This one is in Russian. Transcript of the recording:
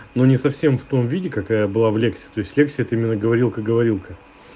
ну не совсем в том виде какая была в лексе то есть в лексе это именно говорилка-говорилка